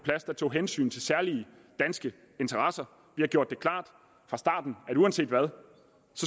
tog hensyn til særlige danske interesser har gjort det klart fra starten at uanset hvad